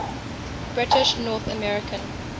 british north american